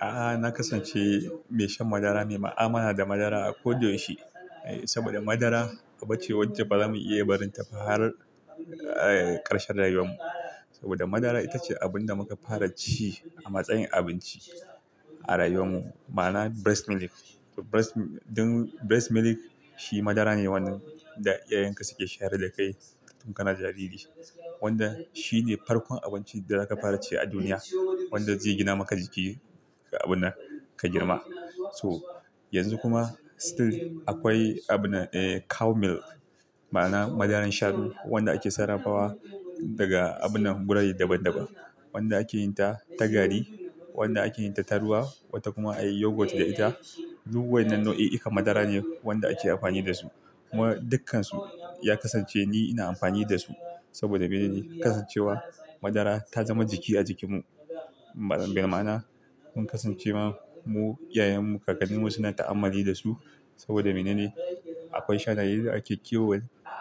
A'a, na kasance mai shan madara ne. Ma'amala da madara a koda yaushe saboda madara aba ce wacce ba za mu iya barin ta ba har ƙarshen rayuwar mu. Saboda madara ita ce abin da muka fara ci a matsayin abinci a rayuwar mu. Ma'ana breast milk. Breast milk shi madara ne wanda iyayenka suke shayar da kai tun kana jariri. Wanda shi ne farkon abincin da zaka fara ci a duniya wanda zai gina maka jiki ka abinnan ka girma. So, yanzu kuma still akwai abinnan, eh, cow milk ma'ana madaran shanu wanda ake sarrafawa daga abinnan gurare daban daban, wanda ake yin ta ta gari, wanda ake yin ta ta ruwa wata kuma ayi yogurt da ita. Duk wan nan nau'i'i kan madara ne wanda ake amfani da su kuma dukkansu ya kasance ni ina amfani da su. Saboda mene? Kasancewa madara ta zama jiki a jikin mu. Bil ma'ana mun kasance ma mu, iyayen mu, kakannin mu suna ta'ammali da su. Saboda mene ne? Akwai shanaye da ake kiwo,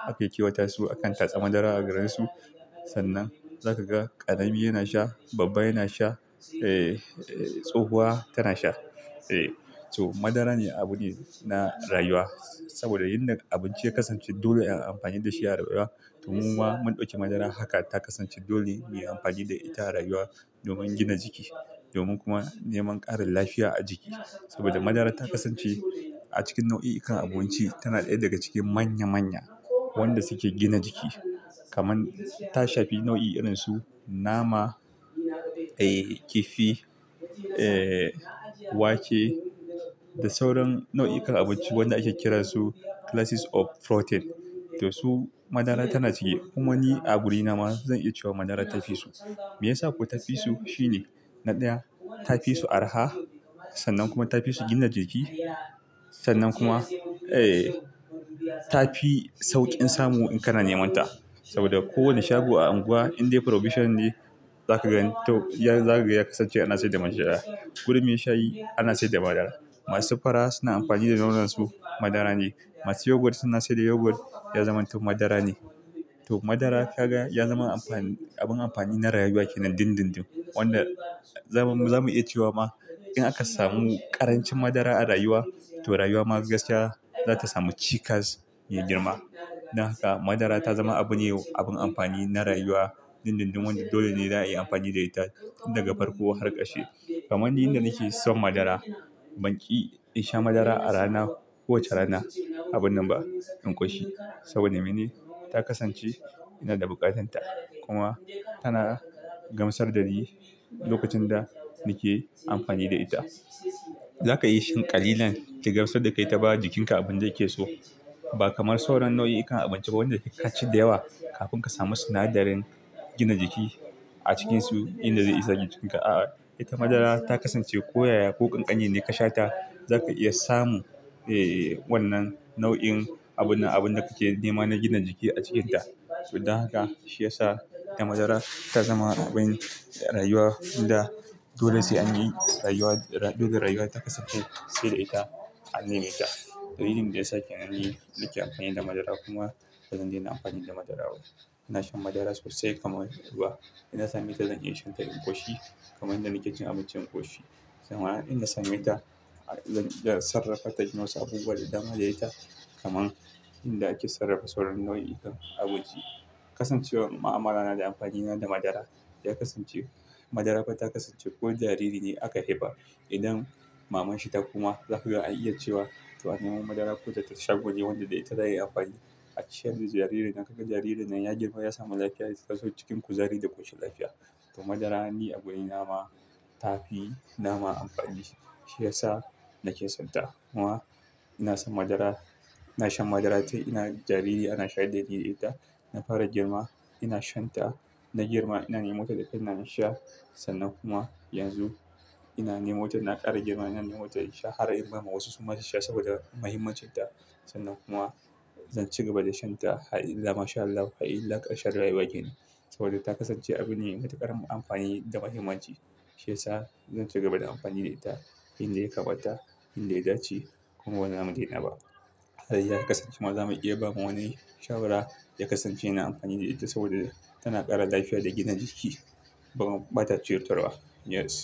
ake kiwata su akan tatsa madara agare su. Sannan za ka ga ƙarami yana sha, babba yana sha, tsohuwa tana sha. Eh so, madara ne abune na rayuwa. Saboda yanda abinci ya kasance dole a yi amfani da shi a rayuwa, to muma mun ɗauki madara haka ta kasance dole muyi amfani da ita a rayuwa domin gina jiki domin kuma neman ƙarin lafiya a jiki. Saboda madara ta kasance a cikin nau'i'ikan abinci, tana ɗaya daga cikin manya manya wanda suke gina jiki kaman ta shafi nau'i irin su nama, eh, kifi, wake da sauran nau'ikan abinci wanda ake kiran su classes of protein. To su madara tana cike. Kuma ni a gurina ma zan iya cewa madara ta fi su. Me yasa ko tafi su? Shi ne, na ɗaya ta fi su araha sannan kuma ta fi su gina jiki. Sannan kuma eh, ta fi sauƙin samu in kana neman ta. Saboda ko wani shago a anguwa in dai provision ne za ka gan toh zakaga ya kasance ana sayar da madara. Gurin mai shayi ana sayar da madara. Masu fura suna amfani da nonon su madara ne. Masu yogurt suna sayar da yogurt ya zama toh madara ne. Toh madara ka ga ya zama amfani, abun amfani na rayuwa kenan dindindin wanda wanda zamu iya cewa ma in aka samu ƙarancin madara a rayuwa, to rayuwa ma gaskiya za ta samu cikas mai girma. Dan haka madara ta zama abun ne, abun amfani na rayuwa dindindin wanda dole ne za a yi amfani da ita tun daga farko har ƙarshe. Kaman ni inda nake son madara ban ƙi in sha madara a rana kowace rana. Abunnan ba in ƙoshi. Saboda mene? Ta kasance ina da buƙatar ta kuma tana gamsar da ni lokacin da nake amfani da ita. Za ka iya shan ƙalilan ta gamsar da kai ta bawa jikinka abin da yake so. Ba kamar sauran nau'i'ikan abinci ba wanda in ka ci da yawa kafin ka samu sinadarin gina jiki a cikinsu inda zai isa jikin ka. A'a, ita madara ta kasance ko yaya ko ƙanƙani ne ka sha ta za ka iya samun, eh, wannan nau'in abunnan abun da kake nema na gina jiki a cikinta. Don haka shi ya sa ita madara ta zama abin rayuwa da dole sai anyi rayuwa dole rayuwa ta kasance sai da ita an nemeta. Dalilin da yake sa kenan ni nake amfani da madara kuma bazan daina amfani da madara. Ina shan madara sosai kamar ruwa. In na same ta zan iya shan ta in ƙoshi kamar yanda nake cin abinci in ƙoshi. Amma in na same ta, zan iya sarrafa ta inyi wasu abubuwa da dama da ita kamar inda ake sarrafa sauran nau'ikan abinci. Kasancewan ma'amala na da amfani na da madara, ya kasance, madara fa ta kasance ko jariri ne aka haifa idan maman shi ta koma za kaga an iya cewa to anemo madara ko da ta shago ne wanda da ita za'a iya amfani a ciyar da jaririn. Za kaga jaririn nan ya girma ya samu lafiya, ya zo cikin kuzari da ƙoshin lafiya. To madara ni a guri na ma ta fi nama amfani, shi ya sa nake son ta kuma ina son madara. Ina shan madara tun ina jariri, ana shayar da ni da ita. Na fara girma ina shan ta, na girma ina nemo ta da kaina insha sannan kuma yanzu ina nemo ta ina ƙara girma ina nemo ta insha har in bama wasu su ma su sha saboda mahimmancin ta. Sannan kuma zan ci gaba da shan ta. Har illa masha Allahu, har illa ƙarshen rayuwa kenan. Saboda ta kasance abune mai matukar amfani da mahimmanci. Shi ya sa zan ci gaba da amfani da ita inda ya kamata, inda ya dace kuma baza mu dai na ba. Har ya kasance ma za mu iya ba ma wani shawara ya kasance yana amfani da ita saboda tana ƙara lafiya da gina jiki. Kuma, bata cutarwa ba. Yes.